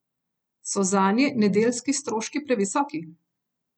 So zanje nedeljski stroški previsoki?